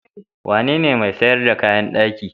Wanene mai sayar da kayan daki?